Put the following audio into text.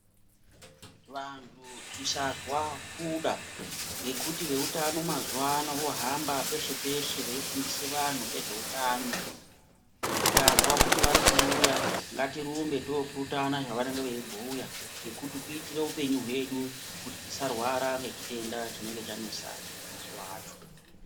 Vantu kusazwa kuda ngekuti veutano mazuwano vohamba peshe peshe veifundisa anhu nezveutano tikazwa kuti varikuuya ngatirumbe topurutana zvavanenge veibhuya ngekuti kuitira hupenyu hwedu kuti tisarwara nechitenda chinenge chanesa mazuwa acho